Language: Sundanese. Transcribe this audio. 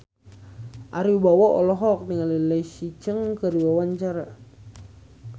Ari Wibowo olohok ningali Leslie Cheung keur diwawancara